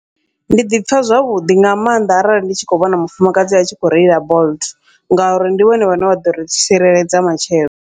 Ndi ḓipfha zwavhuḓi nga maanḓa arali ndi tshi khou vhona mufumakadzi a tshi kho reila bolt, ngauri ndi vhone vhane vha ḓori tsireledza matshelo.